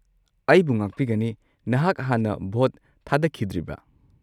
ꯑꯩꯕꯨ ꯉꯥꯛꯄꯤꯒꯅꯤ, ꯅꯍꯥꯛ ꯍꯥꯟꯅ ꯚꯣꯠ ꯊꯥꯗꯈꯤꯗ꯭ꯔꯤꯕ꯭ꯔꯥ?